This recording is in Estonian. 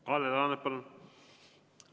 Kalle Laanet, palun!